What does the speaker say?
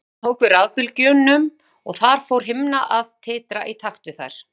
Viðtækið tók við rafbylgjunum og þar fór himna að titra í takt við þær.